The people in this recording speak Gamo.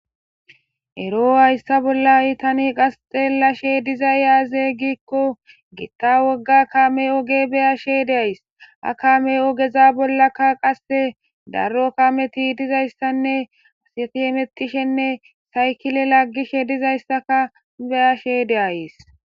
ero hayssa bolla tani qas xelashe dizay aze gikko gitta wogga kame oge be'ashe de'ays ha kame ogeza bollakka qasse darro kameti dizayssanne asati hemetishenne saykile laggishe dizayssaka beyashe de'ayes